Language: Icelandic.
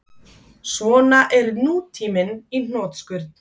Svona er nútíminn í hnotskurn